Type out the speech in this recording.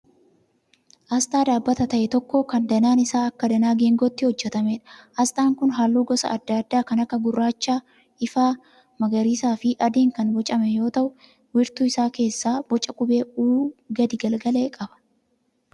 Asxaa dhaabbata ta'e tokkoo kan danaan isaa akka danaa geengootti hojjetameedha. Asxaan kun halluu gosa adda addaa kan akka gurraacha ifaa, magariisaa fi adiin kan boocame yoo ta'u wiirtuu isaa keessaa boca qubee 'U' gadi galagale qaba.